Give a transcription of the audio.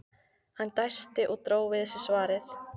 Hann dæsti og dró við sig svarið.